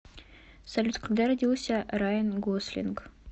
салют когда родился райан гослинг